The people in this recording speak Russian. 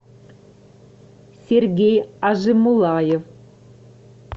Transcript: сергей ажимуллаев